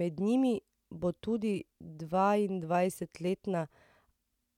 Med njimi bo tudi dvaindvajsetletna